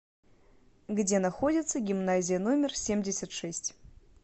где находится гимназия номер семьдесят шесть